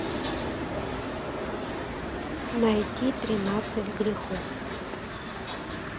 найти тринадцать грехов